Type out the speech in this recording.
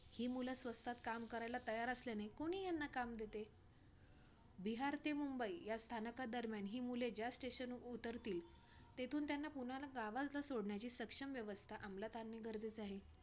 बाकी सगळं कसं delivery काढायची परत म्हणजे delivery ला जे काय order असतात nil करायचा आणि त्याच्यानंतर burger sorry pizza बनवून द्यायचा pizza बनवल्यावरती आपल्याला एक हे असत दहा मिनिटांचा.